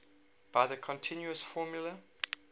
by the continuous formula